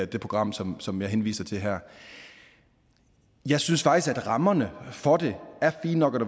det program som som jeg henviser til her jeg synes faktisk at rammerne for det er fine nok